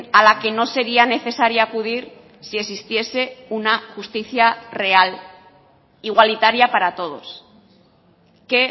a la que no sería necesaria acudir si existiese una justicia real igualitaria para todos que